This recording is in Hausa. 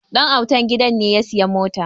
Dan'autan gidan ne ya sayi mota